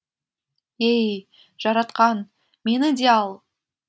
ей жаратқан мені де ал